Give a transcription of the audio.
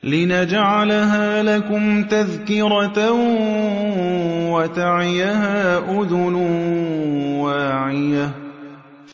لِنَجْعَلَهَا لَكُمْ تَذْكِرَةً وَتَعِيَهَا أُذُنٌ وَاعِيَةٌ